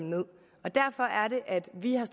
at vi har